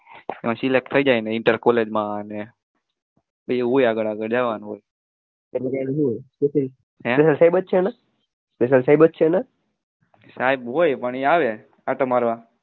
પછી select થઈ જાય ઇન્ટર કોલેજમાં